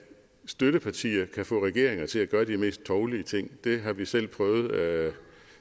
støttepartier kan få regeringer til at gøre de mest tovlige ting det har vi selv prøvet